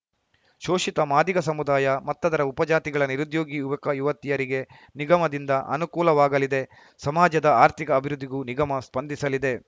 ಶೋಷಿತ ಮಾದಿಗ ಸಮುದಾಯ ಮತ್ತದರ ಉಪ ಜಾತಿಗಳ ನಿರುದ್ಯೋಗಿ ಯುವಕ ಯುವತಿಯರಿಗೆ ನಿಗಮದಿಂದ ಅನುಕೂಲವಾಗಲಿದೆ ಸಮಾಜದ ಆರ್ಥಿಕ ಅಭಿವೃದ್ಧಿಗೂ ನಿಗಮ ಸ್ಪಂದಿಸಲಿದೆ